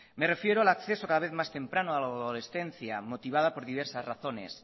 me refiero al acceso cada vez más temprano a la adolescencia motivada por diversas razones